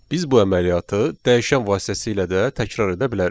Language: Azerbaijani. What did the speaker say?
Biz bu əməliyyatı dəyişən vasitəsilə də təkrar edə bilərik.